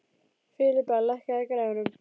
Filippa, lækkaðu í græjunum.